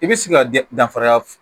I bɛ se ka danfaraya